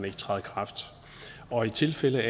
ikke træde i kraft og i de tilfælde